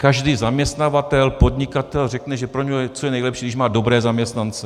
Každý zaměstnavatel, podnikatel řekne, že pro něj je to nejlepší, když má dobré zaměstnance.